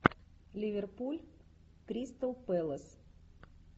ливерпуль кристал пэлас